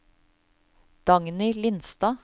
Dagny Lindstad